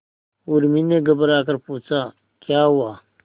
उर्मी ने घबराकर पूछा क्या हुआ